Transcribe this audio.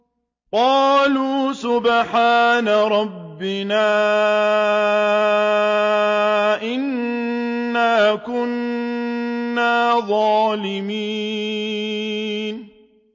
قَالُوا سُبْحَانَ رَبِّنَا إِنَّا كُنَّا ظَالِمِينَ